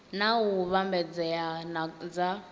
na u vhambedzea na dza